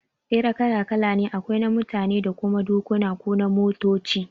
Tsere kala kala ne, akwai na mutane da kuma na dokuna ko na motoci